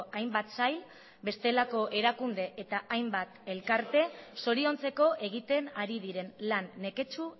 hainbat sail bestelako erakunde eta hainbat elkarte zoriontzeko egiten ari diren lan neketsu